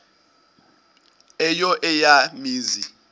eyo eya mizi